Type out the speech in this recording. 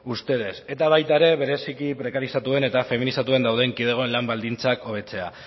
ustedes eta baita ere bereziki prekarizatuen eta feminizatuen dauden kidegoen lan baldintzak hobetzea